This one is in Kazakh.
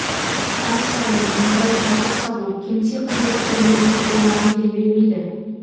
ай сайын мұндай табыс табу кеңсе қызметкерлерінің қолынан келе бермейді